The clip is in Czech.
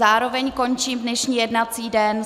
Zároveň končím dnešní jednací den.